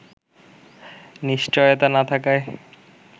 নিশ্চয়তা না থাকায়